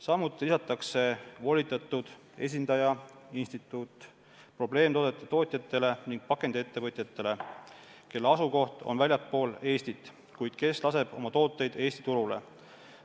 Samuti lisatakse volitatud esindaja, instituut probleemtoodete tootjatele ning pakendiettevõtjatele, kelle asukoht on väljaspool Eestit, kuid kes laseb oma tooteid Eesti turule.